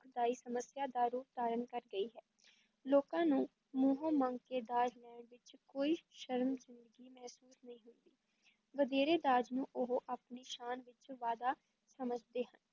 ਦੁਖਦਾਈ ਸਮੱਸਿਆ ਦਾ ਰੂਪ ਧਾਰਨ ਕਰ ਗਈ ਹੈ, ਲੋਕਾਂ ਨੂੰ ਮੂੰਹੋਂ ਮੰਗ ਕੇ ਦਾਜ ਲੈਣ ਵਿੱਚ ਕੋਈ ਸ਼ਰਮਿੰਦਗੀ ਮਹਿਸੂਸ ਨਹੀਂ ਹੁੰਦੀ, ਵਧੇਰੇ ਦਾਜ ਨੂੰ ਉਹ ਆਪਣੀ ਸ਼ਾਨ ਵਿੱਚ ਵਾਧਾ ਸਮਝਦੇ ਹਨ,